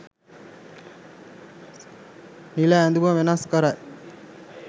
නිල ඇඳුම වෙනස් කරයි